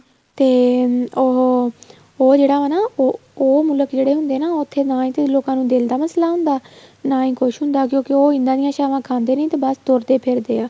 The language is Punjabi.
ਤੇ ਉਹ ਉਹ ਜਿਹੜਾ ਉਹ ਮੁਲਕ ਜਿਹੜੇ ਹੁੰਦੇ ਆ ਉੱਥੇ ਨਾ ਹੀ ਕੋਈ ਲੋਕਾਂ ਨੂੰ ਦਿਲ ਮਸਲਾ ਹੁੰਦਾ ਨਾ ਹੀ ਕੁੱਛ ਹੁੰਦਾ ਕਿਉਂਕਿ ਉਹ ਇੱਦਾਂ ਦੀਆ ਸਾਵਾਂ ਖਾਦੇ ਨੇ ਬੱਸ ਤੁਰਦੇ ਫਿਰਦੇ ਆ